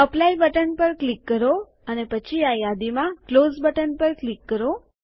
apply button પર click કરો અને પછી આ યાદીમાં ક્લોઝ બટન પર ક્લિક કરો